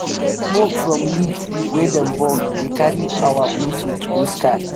smoke from leaf wey dey burn dey carry our our message go sky.